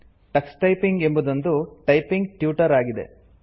Tux typing ಎಂಬುದೊಂದು typing tutor ಆಗಿದೆ